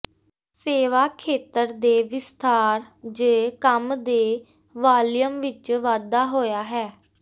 ਸੇਵਾ ਖੇਤਰ ਦੇ ਵਿਸਥਾਰ ਜ ਕੰਮ ਦੇ ਵਾਲੀਅਮ ਵਿੱਚ ਵਾਧਾ ਹੋਇਆ ਹੈ